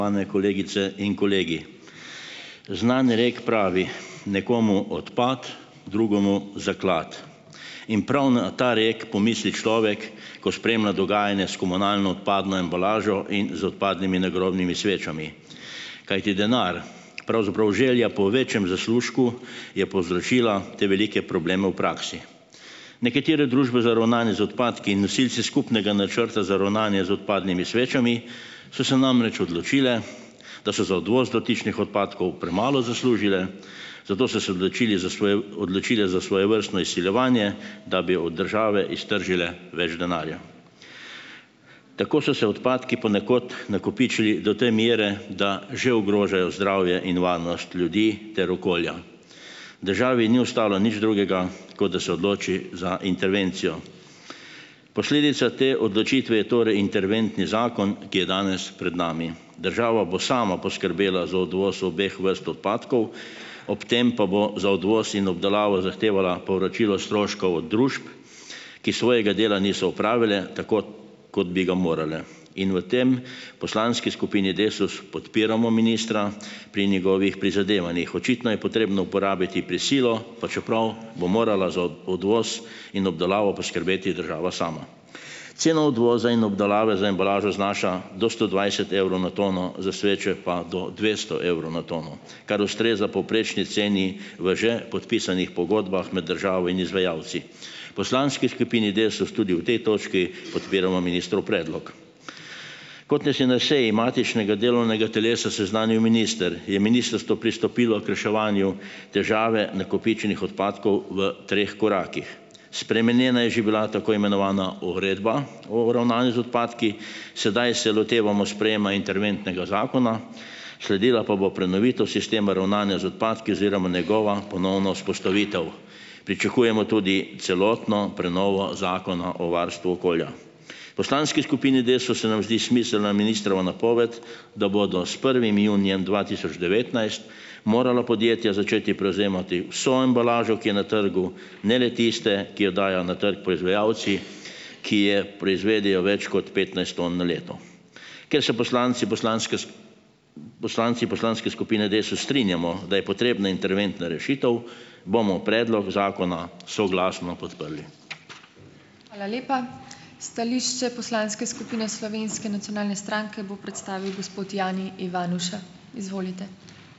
Znan rekel pravi: "Nekomu odpad, drugemu zaklad." In prav na ta rek pomisli človek, ko spremlja dogajanje s komunalno odpadno embalažo in z odpadnimi nagrobnimi svečami, kajti denar, pravzaprav želja po večjem zaslužku je povzročila te velike probleme v praksi. Nekatere družbe za ravnanje z odpadki in nosilci skupnega načrta za ravnanje z odpadnimi svečami so se namreč odločile, da so za odvoz dotičnih odpadkov premalo zaslužile, zato so se odločili za odločili za svojevrstno izsiljevanje, da bi od države iztržile več denarja. Tako so se odpadki ponekod nakopičili do te mere, da že ogrožajo zdravje in varnost ljudi ter okolja. Državi ni ostalo nič drugega, kot da se odloči za intervencijo. Posledica te odločitve je torej interventni zakon, ki je danes pred nami. Država bo sama poskrbela za odvoz obeh vrst odpadkov, ob tem pa bo za odvoz in obdelavo zahtevala povračilo stroškov družb, ki svojega dela niso opravile tako, kot bi ga morale, in v tem poslanski skupini Desus podpiramo ministra pri njegovih prizadevanjih. Očitno je potrebno uporabiti prisilo, pa čeprav bo morala za odvoz in obdelavo poskrbeti država sama. Ceno odvoza in obdelave za embalažo znaša do sto dvajset evrov na tono, za sveče pa do dvesto evrov na tono, kar ustreza povprečni ceni v že podpisanih pogodbah med državo in izvajalci. Poslanski skupini Desus tudi v tej točki podpiramo ministrov predlog. Kot nas je na seji matičnega delovnega telesa seznanil minister, je ministrstvo pristopilo k reševanju težave nakopičenih odpadkov v treh korakih. Spremenjena je že bila tako imenovana Uredba o ravnanju z odpadki, sedaj se lotevamo sprejema interventnega zakona, sledila pa bo prenovitev sistema ravnanja z odpadki oziroma njegova ponovna vzpostavitev. Pričakujemo tudi celotno prenovo Zakona o varstvu okolja. Poslanski skupini Desus se nam zdi smiselna ministrova napoved, da bodo s prvim junijem dva tisoč devetnajst morala podjetja začeti prevzemati vso embalažo, ki je na trgu, ne le tiste, ki jo dajo na trgu poizvajalci, ki je proizvedejo več kot petnajst ton na leto. Ker se poslanci poslanske poslanci poslanske skupine Desus strinjamo, da je potrebna interventna rešitev, bomo predlog zakona soglasno podprli.